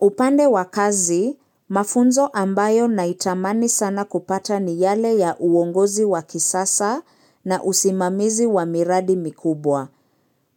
Upande wa kazi, mafunzo ambayo naitamani sana kupata ni yale ya uongozi wa kisasa na usimamizi wa miradi mikubwa.